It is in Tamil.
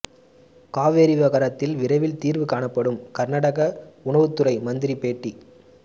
காவிரி விவகாரத்தில் விரைவில் தீர்வு காணப்படும் கர்நாடக உணவுத்துறை மந்திரி பேட்டி